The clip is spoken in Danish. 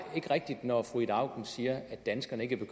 ikke rigtigt når fru ida auken siger at danskerne ikke